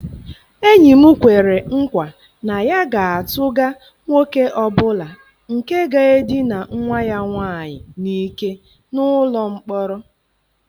Enyi m kwere nkwa na ya ga-atụga nwoke ọ bụla nke ga-edina nwa ya nwaanyị n'ike n'ụlọ mkpọrọ.